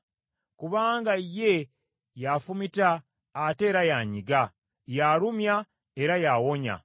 Kubanga ye y’afumita ate era y’anyiga, y’alumya era y’awonya.